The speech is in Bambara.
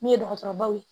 Min ye dɔgɔtɔrɔbaw ye